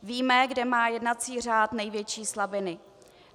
Víme, kde má jednací řád největší slabiny.